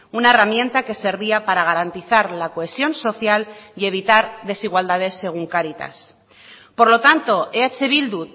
una herramienta que servía para garantizar la cohesión social y evitar desigualdades según caritas por lo tanto eh bildu